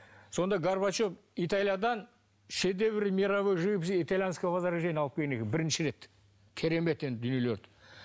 сонда горбачев италиядан шедевры мировой живописи итальянского возрождения алып келген екен бірінші рет керемет енді дүниелерді